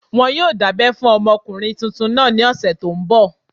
Wọn yóò dábẹ́ fún ọmọkùnrin tuntun náà ní ọ̀sẹ̀ tó n bọ̀